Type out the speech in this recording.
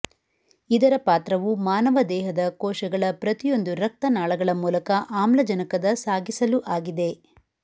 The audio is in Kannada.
ಇದರ ಪಾತ್ರವು ಮಾನವ ದೇಹದ ಕೋಶಗಳ ಪ್ರತಿಯೊಂದು ರಕ್ತ ನಾಳಗಳ ಮೂಲಕ ಆಮ್ಲಜನಕದ ಸಾಗಿಸಲು ಆಗಿದೆ